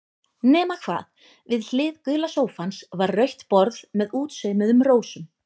Nema hvað, við hlið gula sófans var rautt borð með útsaumuðum rósum.